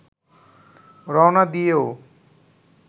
রওনা দিয়েও